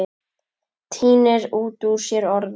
Tínir út úr sér orðin.